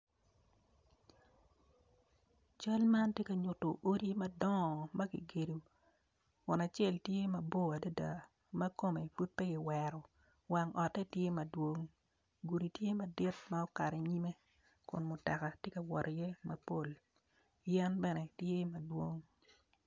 Cal man tye ka nyuto odi madongo makigedo kun acel tye mabor adada makome pud pe gi wero wang ote tye madwong gudi tye madit ma okato i nyime kun mutoka tye ka wot iye mapol yen bene tye madwong.